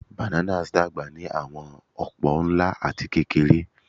Bananas dagba ni awọn opo, nla ati kekere.